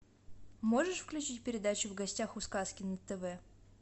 можешь включить передачу в гостях у сказки на тв